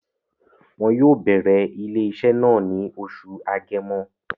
Wọn yóò bẹ̀rẹ̀ ilé-iṣẹ́ náà ní oṣù Agẹmọ